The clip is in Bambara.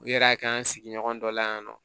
U yɛrɛ y'a kɛ an sigiɲɔgɔn dɔ la yan nɔ